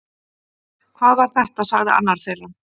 Hvað var þetta sagði annar þeirra